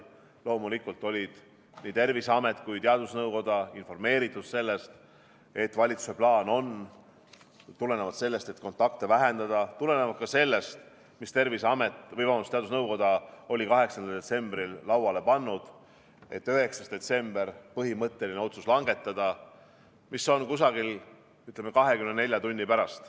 Loomulikult olid nii Terviseamet kui teadusnõukoda informeeritud sellest, et valitsuse plaan on tulenevalt sellest, et kontakte vähendada, tulenevalt ka sellest, mis teadusnõukoda oli 8. detsembril lauale pannud, langetada 9. detsembril, umbes 24 tundi hiljem, põhimõtteline otsus.